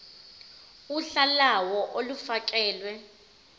uhla lawo olufakelwe